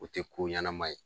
O tɛ ko ɲanama ye.